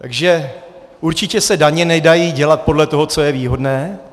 Takže určitě se daně nedají dělat podle toho, co je výhodné.